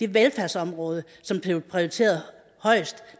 velfærdsområde som blev prioriteret højest